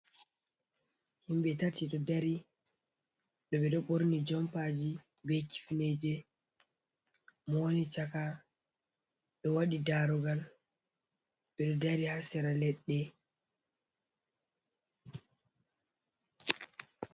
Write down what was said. Himbe tati, ɗo dari ɗo ɓe ɗo ɓorni joom paji, ɓe kifneje, mo wani chaka ɗo waɗi darugal ɓe ɗo dari haa sera leɗɗe.